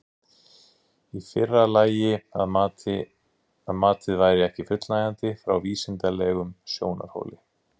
Í fyrra lagi að matið væri ekki fullnægjandi frá vísindalegum sjónarhóli.